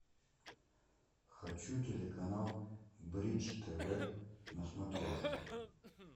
хочу телеканал бридж тв на смотрешке